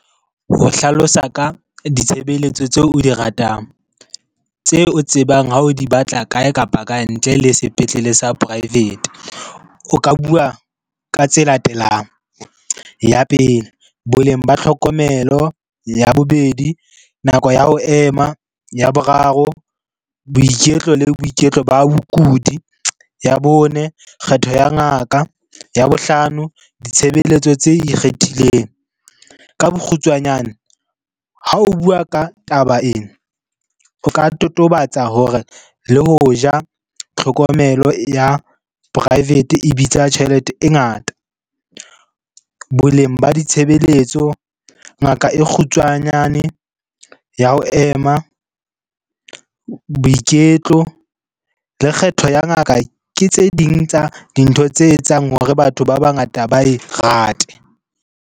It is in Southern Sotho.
Ho hlalosa ka ditshebeletso tseo o di ratang tseo o tsebang ha o di batla kae kapa kae ntle le sepetlele sa poraefete, o ka bua ka tse latelang. Ya pele, boleng ba tlhokomelo. Ya bobedi, nako ya ho ema. Ya boraro, boiketlo le boiketlo ba bokudi. Ya bone, kgetho ya ngaka. Ya bohlano, ditshebeletso tse ikgethileng. Ka bokgutswanyane ha o bua ka taba ena, o ka totobatsa hore le ho ja, tlhokomelo ya poraefete e bitsa tjhelete e ngata. Boleng ba ditshebeletso, ngaka e kgutshwanyane ya ho ema, boiketlo le kgetho ya ngaka ke tse ding tsa dintho tse etsang hore batho ba bangata ba e rate.